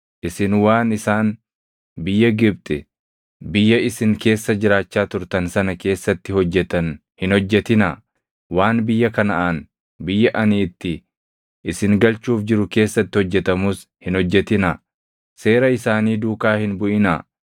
Isin waan isaan biyya Gibxi, biyya isin keessa jiraachaa turtan sana keessatti hojjetan hin hojjetinaa; waan biyya Kanaʼaan, biyya ani itti isin galchuuf jiru keessatti hojjetamus hin hojjetinaa. Seera isaanii duukaa hin buʼinaa.